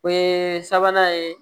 O ye sabanan ye